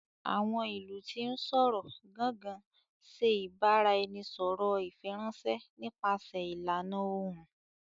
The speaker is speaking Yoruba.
Awọn ilu ti n sọrọ"Gangan" ṣe ibaraẹnisọrọ ifiranṣẹ nípasẹ ìlànà Ohùn